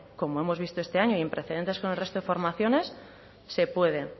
como hemos visto este año y en precedentes con el resto de formaciones se puede